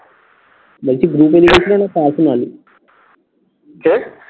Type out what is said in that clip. বলছি group এ লিখেছিলো না personal কি?